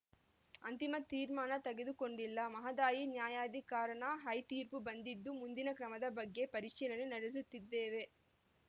ಅಂತಿಮ ತೀರ್ಮಾನ ತೆಗೆದುಕೊಂಡಿಲ್ಲ ಮಹದಾಯಿ ನ್ಯಾಯಾಧಿಕರಣದ ಐತೀರ್ಪು ಬಂದಿದ್ದು ಮುಂದಿನ ಕ್ರಮದ ಬಗ್ಗೆ ಪರಿಶೀಲನೆ ನಡೆಸುತ್ತಿದ್ದೇವೆ